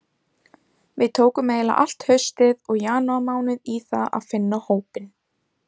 Við tókum eiginlega allt haustið og janúarmánuð í það að finna hópinn.